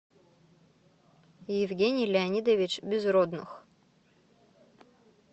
евгений леонидович безродных